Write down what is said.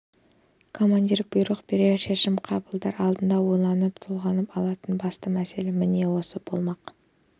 командир бұйрық берер шешім қабылдар алдында ойланып толғанып алатын басты мәселе міне осы болмақ